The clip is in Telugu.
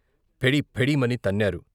ఫెడీ ఫెడీ మని తన్నారు.